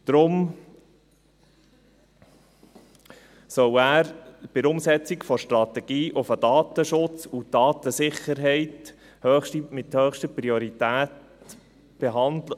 Deshalb soll er bei der Umsetzung der Strategie den Datenschutz und die Datensicherheit mit höchster Priorität behandeln.